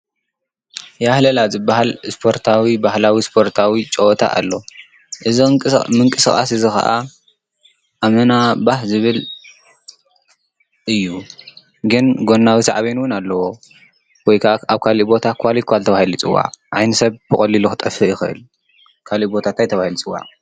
ያህለላ ዝባሃል ስፖርታዊ ባህላዊ ስፖርታዊ ጨወታ ኣሎ፡፡ እዚ ምንቅስቃስ እዚ ከኣ ኣመና ባህ ዝብል እዩ ግን ጎናዊ ሳዕቤን ውን ኣለዎ፡፡ ወይከዓ ኣብ ካሊእ ቦታ ኳሊንኳል ተባሂሉ ይፅዋዕ፡፡ ዓይኒ ሰብ ብቐሊሉ ክጠፍእ ይኽእል፡፡ ካሊእ ቦታ ታይ ተባሂሉ ይፅዋዕ?